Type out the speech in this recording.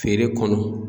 Feere kɔnɔ